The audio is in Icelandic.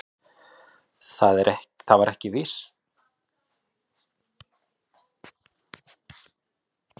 Það var ekki síst til að aðra grunaði ekki frá hvers konar heimili við komum.